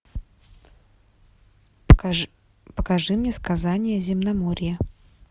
покажи мне сказания земноморья